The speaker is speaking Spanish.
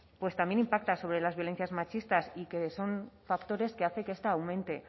pues también impactan sobre las violencias machistas y que son factores que hace que esta aumente